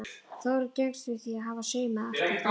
Þórunn gengst við því að hafa saumað allt þarna inni.